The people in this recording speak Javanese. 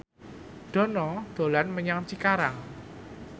Dono dolan menyang Cikarang